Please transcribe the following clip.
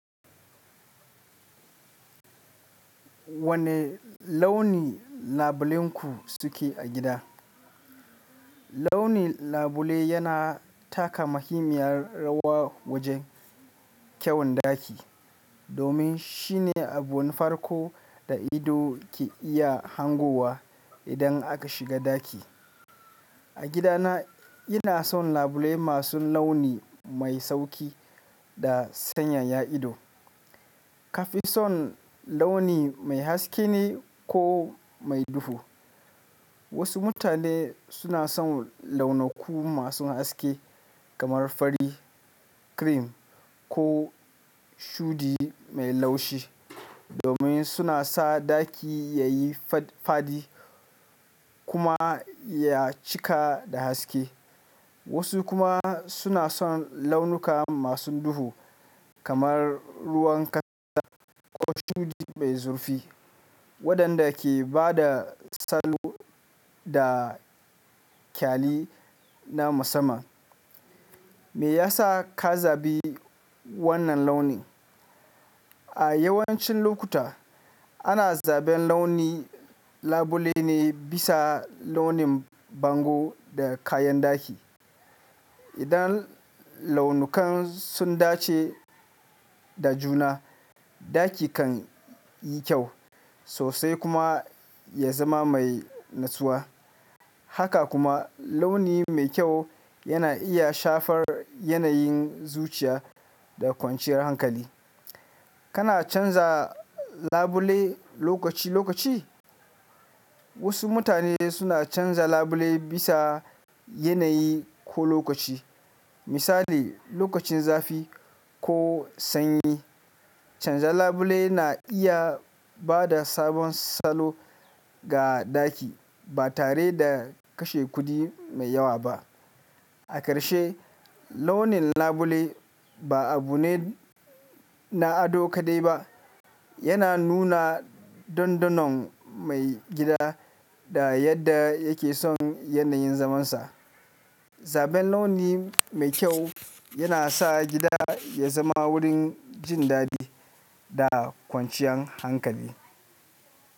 Wane launi labule ku suke a gida? Launin labule yana taka muhimmiyar rawa wajen kyawun ɗaki, domin shine abun farko da ido ke iya hangowa idan aka shiga ɗaki. A gidana ina son labule masu launi mai sauƙi da sanyaya ido. Ka fi son launi mai haske ne ko mai duhu? Wasu mutane suna son launaku masu haske kamar fari, cream ko shuɗi mai laushi, domin suna sa ɗaki ya yi fa- fadi kuma ya cika da haske. Wasu kuma suna son launuka masu duhu kamar ruwan kasa ko shuɗi mai zurfi, waɗanda ke ba da salo da kyalli na musamman. Me yasa ka zabi wannan launin? A yawancin lokuta ana zaben launi labule ne bisa launin bango da kayan ɗaki. Idan launukan sun dace da juna, ɗaki kan yi kyau sosai kuma ya zama mai natsuwa. Haka kuma launi mai kyau yana iya shafar yanayin zuciya da kwanciyar hankali. Kana canza labule lokaci lokaci? Wasu mutane suna canza labule bisa yanayi ko lokaci. Misali lokacin zafi ko sanyi. Canza labule na iya ba da sabon salo ga ɗaki ba tare da kashe kuɗi mai yawa ba. A ƙarshe, launin labule ba abu ne na ado kaɗai ba. Yana nuna dandanon mai gida da yadda yake son yanayin zamansa. Zaben launi mai kyau yana sa gida ya zama wurin jin daɗi da kwanciyan hankali.